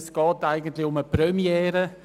Es handelt sich eigentlich um eine Premiere.